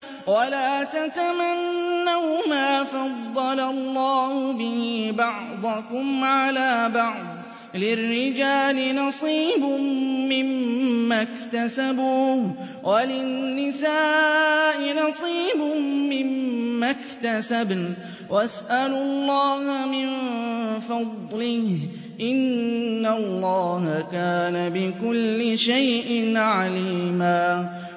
وَلَا تَتَمَنَّوْا مَا فَضَّلَ اللَّهُ بِهِ بَعْضَكُمْ عَلَىٰ بَعْضٍ ۚ لِّلرِّجَالِ نَصِيبٌ مِّمَّا اكْتَسَبُوا ۖ وَلِلنِّسَاءِ نَصِيبٌ مِّمَّا اكْتَسَبْنَ ۚ وَاسْأَلُوا اللَّهَ مِن فَضْلِهِ ۗ إِنَّ اللَّهَ كَانَ بِكُلِّ شَيْءٍ عَلِيمًا